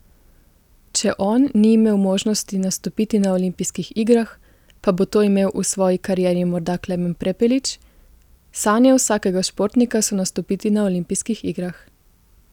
Če on ni imel možnosti nastopiti na olimpijskih igrah, pa bo to imel v svoji karieri morda Klemen Prepelič: 'Sanje vsakega športnika so nastopiti na olimpijskih igrah.